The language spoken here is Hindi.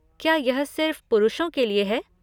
क्या यह सिर्फ पुरुषों के लिए है?